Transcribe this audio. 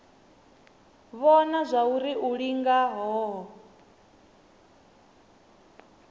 vhona zwauri u linga hohe